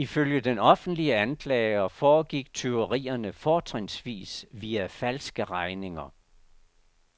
Ifølge den offentlige anklager foregik tyverierne fortrinsvis via falske regninger.